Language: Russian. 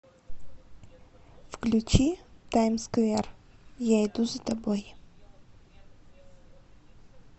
включи таймсквер я иду за тобой